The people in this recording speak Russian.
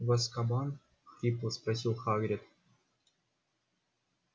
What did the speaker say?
в азкабан хрипло спросил хагрид